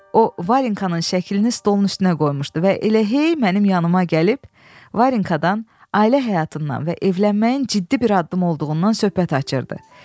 O Varinkanın şəklini stolun üstünə qoymuşdu və elə hey mənim yanıma gəlib Varinkadan, ailə həyatından və evlənməyin ciddi bir addım olduğundan söhbət açırdı.